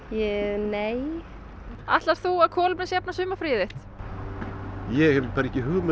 nei ætlar þú að kolefnisjafna sumarfríið þitt ég hef ekki hugmynd